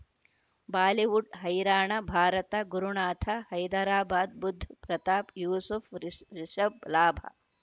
Bollywood ಹೈರಾಣ ಭಾರತ ಗುರುನಾಥ ಹೈದರಾಬಾದ್ ಬುಧ್ ಪ್ರತಾಪ್ ಯೂಸುಫ್ ರಿಷ್ ರಿಷಬ್ ಲಾಭ